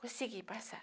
Consegui passar.